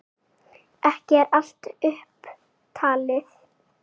Ekki er allt upp talið.